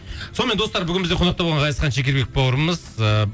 сонымен достар бүгін бізде қонақта болған ғазизхан шекербек бауырымыз ыыы